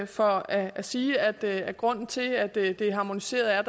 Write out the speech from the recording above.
for at sige at at grunden til at det er harmoniseret er